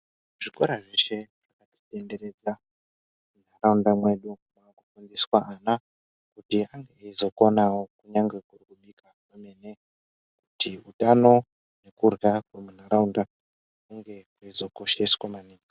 Zvikora zveshe zvakatitenderedza muntaraunda mwedu mwaakufundiswa ana kuti vange veizokonavo nyange kuri kubika kwemene. Kuti utano nekurya kwemuntaraunda kunge kweizokosheswa maningi.